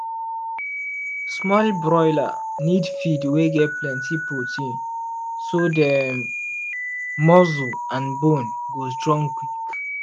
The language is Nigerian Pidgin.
small broiler need feed wey get plenty protein so dem muscle and bone go strong quick.